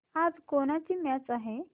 आज कोणाची मॅच आहे